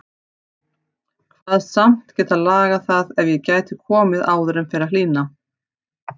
Kvaðst samt geta lagað það ef ég gæti komið áður en fer að hlýna.